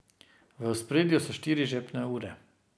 V ospredju so štiri žepne ure.